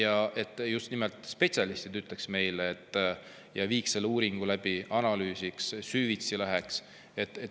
Aga just nimelt spetsialistid peaksid seda meile ütlema, nad peaksid viima selle uuringu läbi, analüüsima, süvitsi minema.